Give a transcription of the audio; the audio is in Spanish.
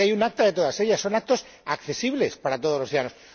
se sabe hay un acta de todas ellas, son actas accesibles para todos los ciudadanos.